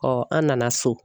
an nana so.